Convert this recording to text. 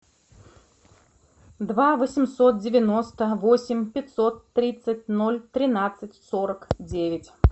два восемьсот девяносто восемь пятьсот тридцать ноль тринадцать сорок девять